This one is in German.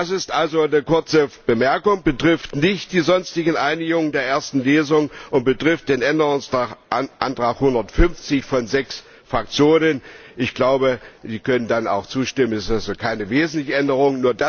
Das ist also die kurze Bemerkung, betrifft nicht die sonstigen Einigungen der ersten Lesung und betrifft den Änderungsantrag 150 von sechs Fraktionen. Ich glaube, Sie können dem auch zustimmen. Es ist keine wesentliche Änderung.